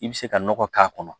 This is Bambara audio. I bɛ se ka nɔgɔ k'a kɔnɔ